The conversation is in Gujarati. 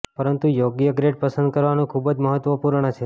પરંતુ યોગ્ય ગ્રેડ પસંદ કરવાનું ખૂબ જ મહત્વપૂર્ણ છે